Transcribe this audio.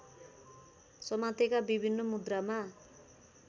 समातेका विभिन्न मुद्रामा